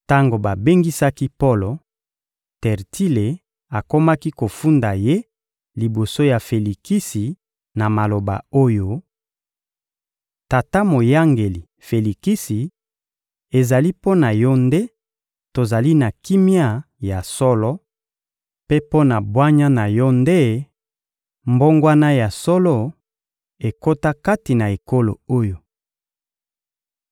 Tango babengisaki Polo, Tertile akomaki kofunda ye liboso ya Felikisi na maloba oyo: — Tata moyangeli Felikisi, ezali mpo na yo nde tozali na kimia ya solo, mpe mpo na bwanya na yo nde mbongwana ya solo ekota kati na ekolo oyo.